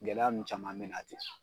Gɛlɛya n caman bɛ na ten.